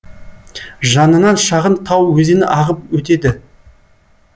жанынан шағын тау өзені ағып өтеді